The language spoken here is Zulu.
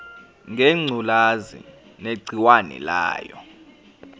ngengculazi negciwane layo